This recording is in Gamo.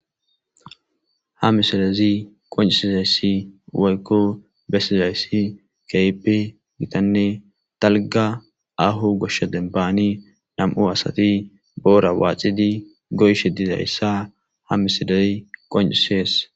Ha missilezi qonc'isizaysi woyko besizaysi kehipe gitane dalga aho gosha demban nam'u asati bora waxidi goyishe dizaysa ha missiley qonc'ses.